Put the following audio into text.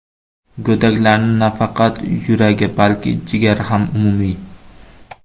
Go‘daklarning nafaqat yuragi, balki jigari ham umumiy.